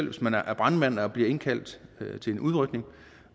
hvis man er brandmand og bliver indkaldt til en udrykning